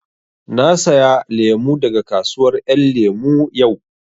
Na saya lemu daga kasuwar ƴan lemu yau